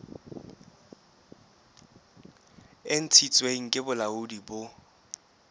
e ntshitsweng ke bolaodi bo